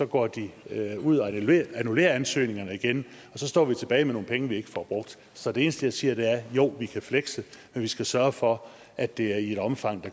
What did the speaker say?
går de ud og annullerer ansøgningerne igen og så står vi tilbage med nogle penge vi ikke får brugt så det eneste jeg siger er jo vi kan flekse men vi skal sørge for at det er i et omfang